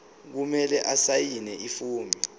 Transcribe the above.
kumele asayine ifomu